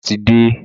Bàbá ti de